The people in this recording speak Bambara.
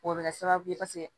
O bɛ kɛ sababu ye paseke